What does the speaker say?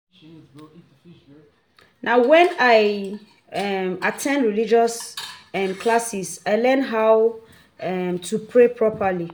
Na wen I um dey at ten d religious um classes I learn how um to pray properly.